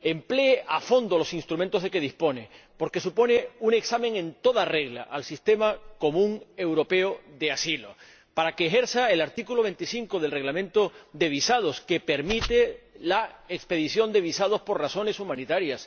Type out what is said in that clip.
emplee a fondo los instrumentos de que dispone —porque estamos ante un examen en toda regla al sistema común europeo de asilo— para que aplique así el artículo 25 del Reglamento sobre visados, que permite la expedición de visados por razones humanitarias